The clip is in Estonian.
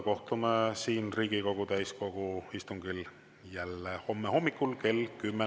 Kohtume siin Riigikogu täiskogu istungil jälle homme hommikul kell 10.